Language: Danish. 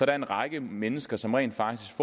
er en række mennesker som rent faktisk